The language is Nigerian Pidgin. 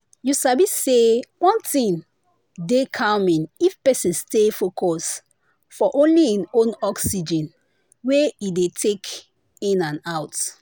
you sabi say one thing dey calming if person stay focus for only hin own oxygen wey e dey take in and out